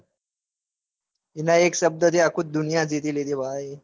અલ્યા એક શબ્દ થી આખી દુનિયા જીતી લીધી બભાઇ.